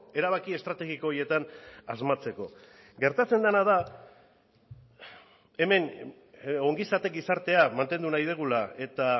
erabaki estrategiko horietan asmatzeko gertatzen dena da hemen ongizate gizartea mantendu nahi dugula eta